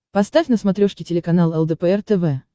поставь на смотрешке телеканал лдпр тв